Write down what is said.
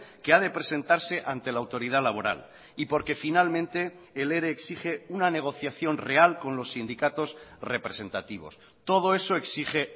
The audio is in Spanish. que a de presentarse ante la autoridad laboral y porque finalmente el ere exige una negociación real con los sindicatos representativos todo eso exige